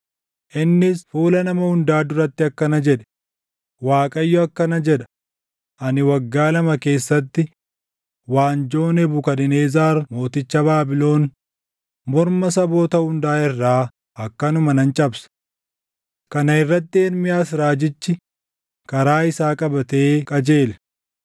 innis fuula nama hundaa duratti akkana jedhe; “ Waaqayyo akkana jedha; ‘Ani waggaa lama keessatti waanjoo Nebukadnezar mooticha Baabilon morma saboota hundaa irraa akkanuma nan cabsa.’ ” Kana irratti Ermiyaas raajichi karaa isaa qabatee qajeele.